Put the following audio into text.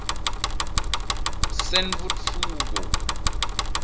sentfutfuko